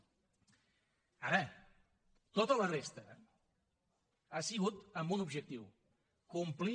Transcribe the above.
ara tota la resta ha sigut amb un objectiu complir